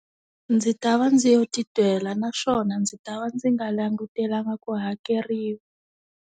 Ndzi ta va ndzi yo titwela naswona ndzi ta va ndzi nga langutelanga ku hakeriwa.